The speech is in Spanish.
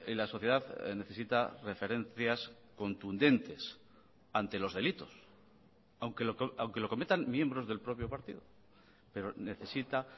la sociedad necesita referencias contundentes ante los delitos aunque lo cometan miembros del propio partido pero necesita